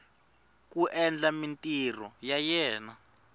ku endla mintirho ya yena